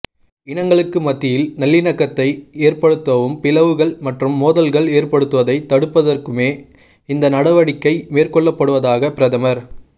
இனங்களுக்கு மத்தியில் நல்லிணக்கத்தை ஏற்படுத்தவும் பிளவுகள் மற்றும் மோதல்கள் ஏற்படுவதைத் தடுப்பதற்குமே இந்த நடவடிக்கை மேற்கொள்ளப்படுவதாக பிரதமர்